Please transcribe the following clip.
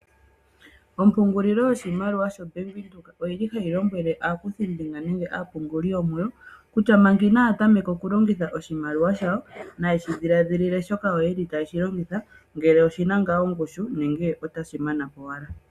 Ombungulilo yo shimaliwa sha bank Windhoek oyili tayi lombwele aakuthimbinga nenge aapunguli yo muwo, kutya manga Ina ya tameka oku longitha oshimaliw shawo, naye shi dhiladhile shoka yeli taye shilongitha ngele oshina ngaa ongushu, nenge otashi mana po owala.